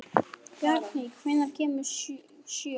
Bjarný, hvenær kemur sjöan?